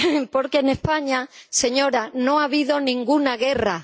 Porque en España, señora, no ha habido ninguna guerra.